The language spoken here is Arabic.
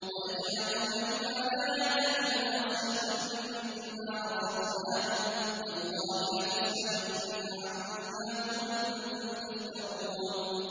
وَيَجْعَلُونَ لِمَا لَا يَعْلَمُونَ نَصِيبًا مِّمَّا رَزَقْنَاهُمْ ۗ تَاللَّهِ لَتُسْأَلُنَّ عَمَّا كُنتُمْ تَفْتَرُونَ